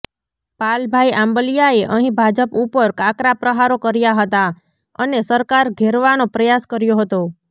પાલભાઈ આંબલિયાએ અહી ભાજપ ઉપર આકરા પ્રહારો કર્યા હતા અને સરકાર ઘેરવાનો પ્રયાસ કર્યો હતો